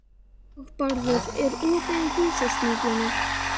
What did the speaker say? Hagbarður, er opið í Húsasmiðjunni?